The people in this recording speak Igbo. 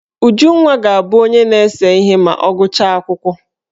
Ujunwa ga-abụ onye na-ese ihe ma ọ gụchaa akwụkwọ.